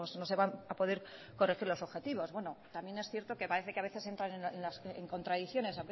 no se van a poder corregir los objetivos bueno también es cierto que parece que a veces entran en contradicciones